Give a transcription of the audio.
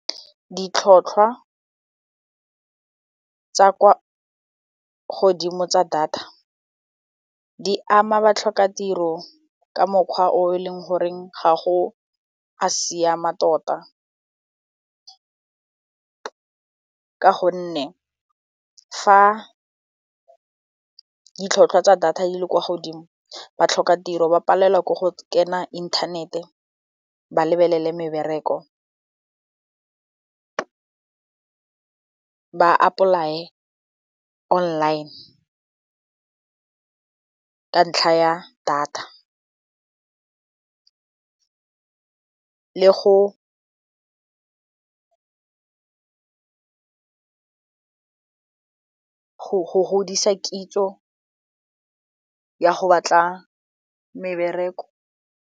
Ditlhwatlhwa tsa kwa godimo tsa data di ama batlhokatiro ka mokgwa o e leng goreng ga o a siama tota ka gonne fa ditlhwatlhwa tsa data di le kwa godimo batlhokatiro ba palelwa ke go kena inthanete ba lebelele mebereko ba apply-e online ka ntlha ya data le go godisa kitso ya go batla mebereko.